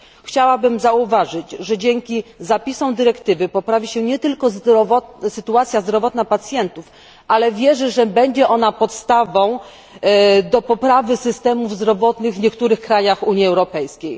Chciałabym zauważyć, że dzięki zapisom dyrektywy poprawi się nie tylko sytuacja zdrowotna pacjentów, ale wierzę, że będzie ona podstawą do poprawy systemów zdrowotnych w niektórych krajach Unii Europejskiej.